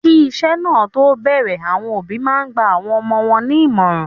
Kí iṣẹ sáà to bẹrẹ, àwọn òbí máa n gba awọn ọmọ wọn ní ìmọràn.